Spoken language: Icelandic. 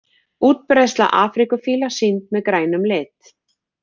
Útbreiðsla afríkufíla sýnd með grænum lit.